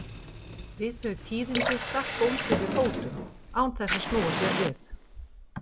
Við þau tíðindi stakk bóndi við fótum án þess að snúa sér við.